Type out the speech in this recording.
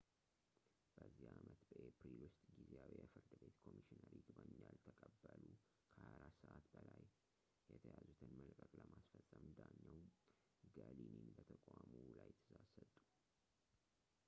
በዚህ ዓመት በኤፕሪል ውስጥ ጊዜያዊ የፍርድ ቤት ኮሚሽነር ይግባኝ ያልተቀበሉ ከ 24 ሰዓታት በላይ የተያዙትን መልቀቅ ለማስፈፀም ዳኛው ገሊኒን በተቋሙ ላይ ትእዛዝ ሰጡ